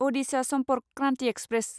Adisha Sampark Kranti express